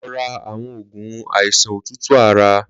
Lọ rà awọn ógún áisán ótútú àrá